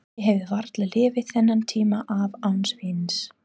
Ég hefði varla lifað þennan tíma af án víns.